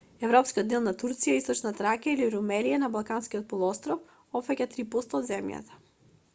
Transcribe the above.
европскиот дел на турција источна тракија или румелија на балканскиот полуостров опфаќа 3 % од земјата